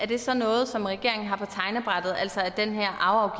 det så er noget regeringen har på tegnebrættet altså at den her